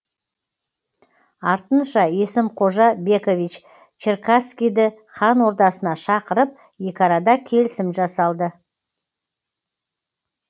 артынша есім қожа бекович черкасскийді хан ордасына шақырып екі арада келісім жасалды